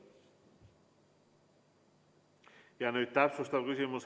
Ja nüüd täpsustav küsimus.